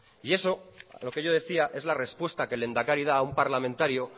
y eso a lo que yo decía es la respuesta que el lehendakari da un parlamentario